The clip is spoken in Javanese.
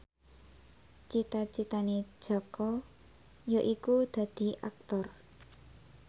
cita citane Jaka yaiku dadi Aktor